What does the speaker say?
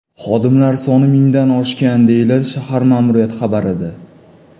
Xodimlar soni mingdan oshgan”, deyiladi shahar ma’muriyati xabarida.